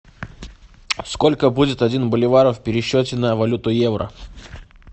сколько будет один боливар в пересчете на валюту евро